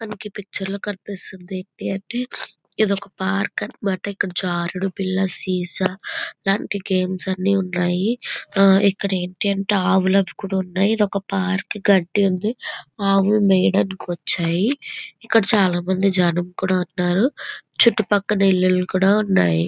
మనకి ఈ పిక్చర్ లో కనిపిస్తుంది ఏంటంటే ఇదొక పార్క అన్నమాట. ఇక్కడ జారుడుబల్ల సీసా ఇలాంటి గేమ్స్ అన్నీ ఉన్నాయి. ఆ ఇక్కడ ఏంటంటే ఆవులు కూడా ఉన్నాయి. పార్కు గడ్డి ఉంది. ఆవులు మెయ్యడానికి వచ్చాయి. ఇక్కడ చాలామంది జనం కూడా ఉన్నారు. చుట్టుపక్కల ఇల్లులు కూడా ఉన్నాయి.